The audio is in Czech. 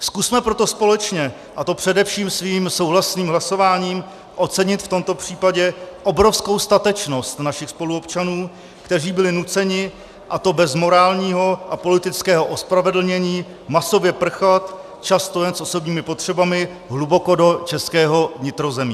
Zkusme proto společně, a to především svým souhlasným hlasováním, ocenit v tomto případě obrovskou statečnost našich spoluobčanů, kteří byli nuceni, a to bez morálního a politického ospravedlnění, masově prchat, často jen s osobními potřebami, hluboko do českého vnitrozemí.